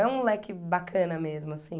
É um moleque bacana mesmo, assim.